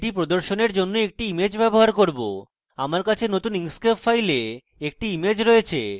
এটি প্রদর্শনের জন্য আমি একটি image ব্যবহার করব আমার কাছে এখানে নতুন inkscape file একটি image রয়েছে